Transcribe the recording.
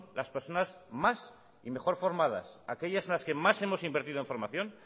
las personas más y mejor formadas aquellas en las que más hemos invertido en formación